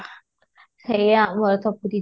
ହେଇ ଆମର ତ ପୁରୀ